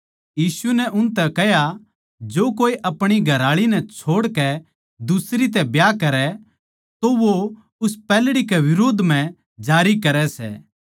यीशु नै उनतै कह्या जो कोए आपणी घरआळी नै छोड़कै दुसरी तै ब्याह करै तो वो उस पैहल्ड़ी कै बिरोध म्ह जारी करै सै